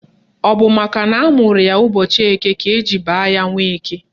Ọ bụ makana amụrụ ya n'ụbọchị Eke ka eji baa ya Nweke